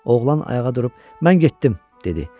Oğlan ayağa durub, mən getdim dedi.